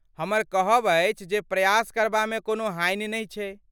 हमर कहब अछि जे प्रयास करबामे कोनो हानि नहि छै ।